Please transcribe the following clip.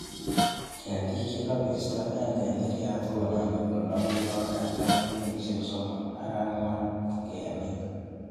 Ketik chegobisto en tenderiat konome kologu yon katar kenyisiek somok ak angwan ngemin